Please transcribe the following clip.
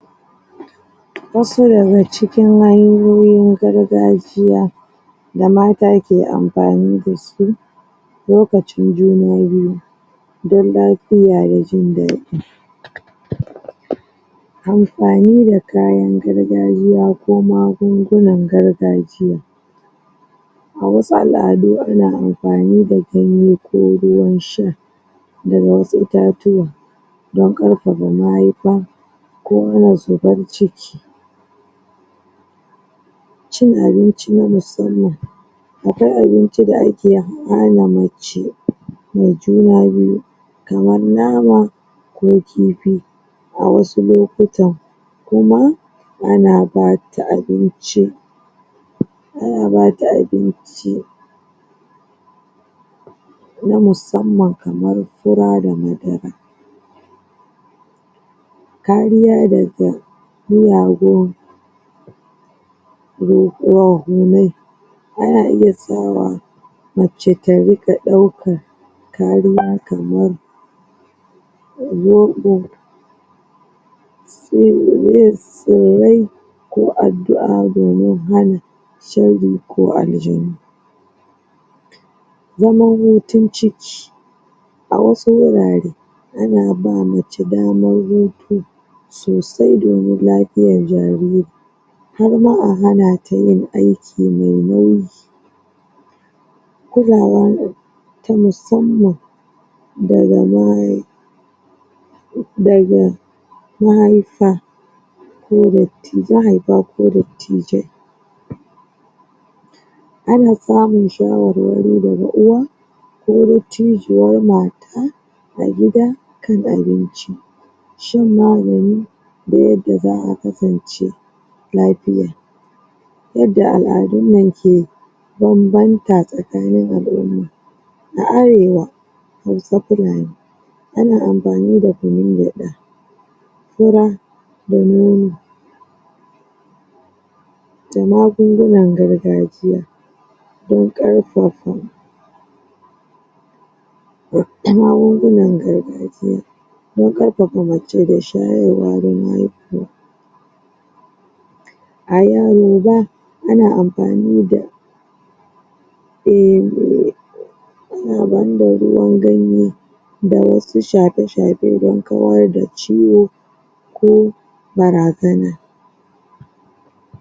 Wasu daga ci kin hanyoyin garga jiya damata ke amfani dasu lokacin juna biyu don lafiya da jin daɗi amfani da kayan gargajiya ko magungunan gargajiya awasu al'adu ana amfani da ganye ko ruwan sha daga wasu itatuwa dan ƙarfafa mayuka ko zubar ciki cin abinci na musamman akwaai abinci da ake hana mace me juna biyu kaman nama ko kifi a wasu lokuta kuma ana bata abinci ana bata abinci na musamman kaman fura da madara kariya daga miyagun ruhu, ruhunnai ana iya sawa mace ta riƙa ɗaukan kariya kaman zoɓo yist tsirrai ko addu a domin hana shari ko aljanu zaman hutun ciki awasu gurare ana bama mace daman hutu sosai domin lafiyan jariri harma a hana tayin ai ki me nauyi kulawa tamusamman daga na daga ma haifa koda ti mahaifa ko dadtijai ana samun shawarwari daga uwa ko dattijuwan ma ta agida ka abinci shan magani da yadda za a kasance lafiya yadda al'adunmu ke banbanta tsakanin al umma na arewa hausa fulani ana amfani da kunun gyaɗa fura da nono da magungunan gargajiya don ƙarfafa na magungunan gargajiya dan ƙarfafa mace da shayarwa dan haihuwa ayaroba ana amfanida? ana amfani da ruwan ganye dawasu shafe shafe dan kawar da ciwo ko barazana